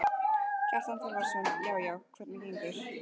Kjartan Þorvarðarson: Já já, hvernig gengur?